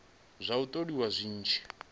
zwa u tholiwa zwi tshi